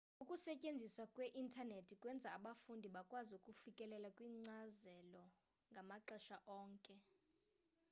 ukusetyenziswa kwe-intanethi kwenza abafundi bakwazi ukufikelela kwinkcazelo ngamaxesha onke